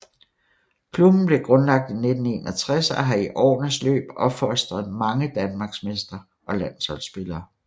Klubben blev grundlagt i 1961 og har i årenes løb opfostret mange danmarksmestre og landsholdsspillere